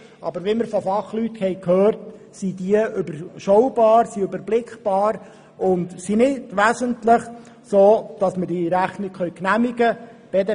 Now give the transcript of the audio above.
Aber wie wir von Fachleuten gehört haben, sind diese überschaubar und nicht wesentlich, sodass wir diese Rechnung genehmigen können.